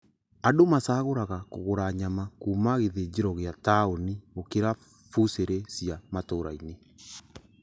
Andũ macagũraga kũgũra nyama kuma gĩthĩnjĩro gia taũni gũkĩra bucĩrĩ cia matura-inĩ